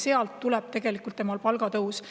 Sealt tuleb tema palgatõus.